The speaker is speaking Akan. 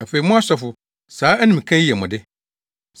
Afei mo asɔfo, saa animka yi yɛ mo de.